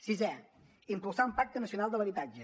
sisè impulsar un pacte nacional de l’habitatge